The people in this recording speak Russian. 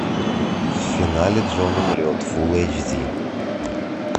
в финале джон умрет фулл эйч ди